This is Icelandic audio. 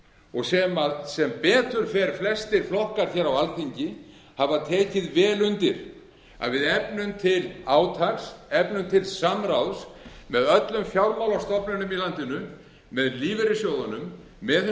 og sem sem betur fer flestir flokkar hér á alþingi hafa tekið vel undir að við efnum til átaks efnum til samráðs með öllum fjármálastofnunum í landinu með lífeyrissjóðunum með hinu